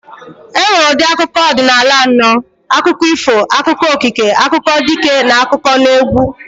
E nwere ụdị akụkọ ọdịnala anọ. Akụkọ ifo, akụkọ okike, akụkọ dike, n'akụkọneegwụ